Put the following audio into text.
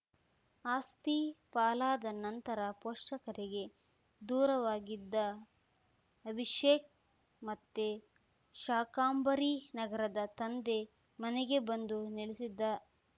ಆಸ್ತಿ ಪಾಲಾದ ನಂತರ ಪೋಷಕರಿಗೆ ದೂರವಾಗಿದ್ದ ಅಭಿಷೇಕ್‌ ಮತ್ತೆ ಶಾಕಾಂಬರಿನಗರದ ತಂದೆ ಮನೆಗೆ ಬಂದು ನೆಲೆಸಿದ್ದ